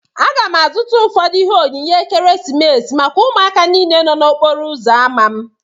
Aga m azụta ụfọdụ ihe onyinye ekeresimesi maka ụmụaka niile nọ n'okporo uzo ámá m